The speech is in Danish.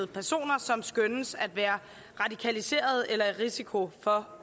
personer som skønnes at være radikaliserede eller i risiko for